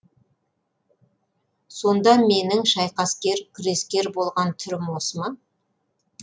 сонда менің шайқаскер күрескер болған түрім осы ма